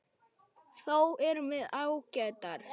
Þó erum við ágætar.